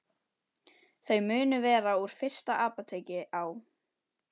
Þau munu vera úr fyrsta apóteki á